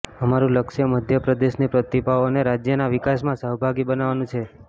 અમારું લક્ષ્ય મધ્ય પ્રદેશની પ્રતિભાઓને રાજ્યના વિકાસમાં સહભાગી બનાવવાનું છે